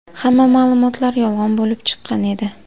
Hamma ma’lumotlar yolg‘on bo‘lib chiqqan edi.